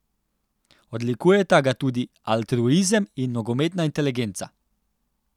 Odlikujeta ga tudi altruizem in nogometna inteligenca.